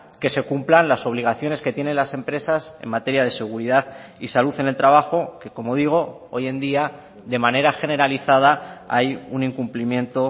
que se cumplan las obligaciones que tienen las empresas en materia de seguridad y salud en el trabajo que como digo hoy en día de manera generalizada hay un incumplimiento